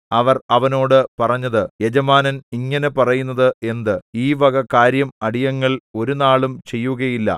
അവർ അവനോട് പറഞ്ഞത് യജമാനൻ ഇങ്ങനെ പറയുന്നത് എന്ത് ഈ വക കാര്യം അടിയങ്ങൾ ഒരുനാളും ചെയ്യുകയില്ല